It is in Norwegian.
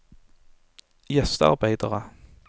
gjestearbeidere